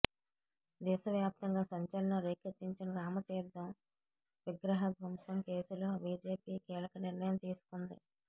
దేశవ్యాప్తంగా సంచలనం రేకెత్తించిన రామతీర్థం విగ్రహ ధ్వంసం కేసులో బీజేపీ కీలక నిర్ణయం తీసుకుంది